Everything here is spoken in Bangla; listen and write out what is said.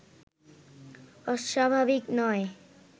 অস্বাভাবিক নয়